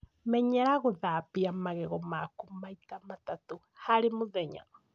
Menyera gũthambagia magego maku maita matatũ harĩ mũthenya